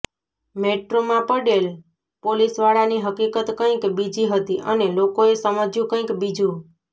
મેટ્રોમાં પડેલ પોલીસવાળાની હકીકત કંઈક બીજી હતી અને લોકોએ સમજ્યુ કંઈક બીજુ